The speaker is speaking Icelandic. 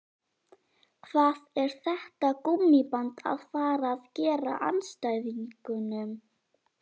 Hvað er þetta gúmmíband að fara að gera andstæðingunum?